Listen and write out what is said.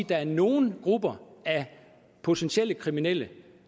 der er nogle grupper af potentielle kriminelle